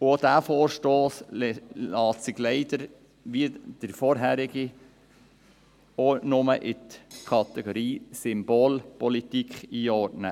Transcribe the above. Auch dieser Vorstoss lässt sich leider, wie der vorangehende, nur der Kategorie «Symbolpolitik» zuordnen.